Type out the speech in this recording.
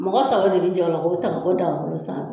Mɔgɔ saba de bi jɛ o la ko ta ka bɔ daga kuru sanfɛ